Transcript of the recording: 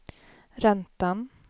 räntan